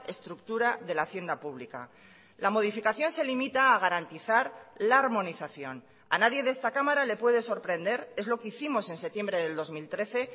estructura de la hacienda pública la modificación se limita a garantizar la armonización a nadie de esta cámara le puede sorprender es lo que hicimos en septiembre del dos mil trece